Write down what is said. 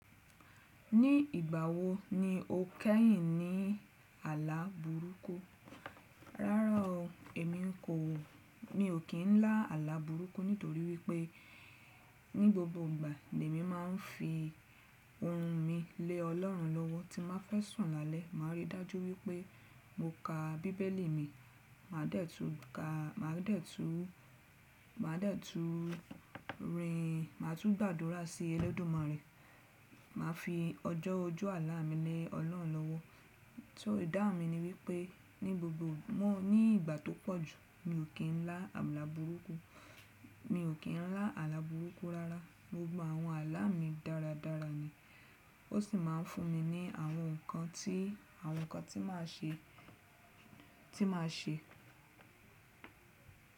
Ní ìgbà wo ni o kẹ́yìn ní àlá burúkú? Rárá o, èmi kò, mi ò kí ń lá àlá burúkú nítorí wípé ní gbogbo ìgbà l’èmi máa ń fi ohun mi lé Ọlọ́run lọ́wọ́ tí má fẹ́ sùn lálẹ́, màá rí dájú wípé mo ka bíbélì mi, màá dẹ́tu ka, màá dẹ́tu, màá dẹ́tu rin, màá tún gbàdúrà sí ẹlẹ́dùmárẹ, màá fi ọjọ́ ojú àlá mi lé Ọlọ́run lọ́wọ́. So ìdáhun mi ni wípé ní gbogbo mọ́ ní ìgbà tó pọ̀jù mi ò kí ń lá àlá burúkú, mi ò kí ń lá àlá burúkú rárá. Gbogbo àwọn àlá mi dáradára ni ó sì máa ń fún mi ní àwọn nǹkan tí, àwọn nǹkan tí màá ṣe, tí màá ṣe.